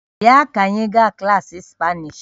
Bịa ka anyị gaa klaasị spanish